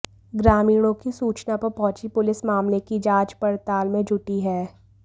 ग्रामीणों की सूचना पर पहुंची पुलिस मामले की जांच पड़ताल में जुटी है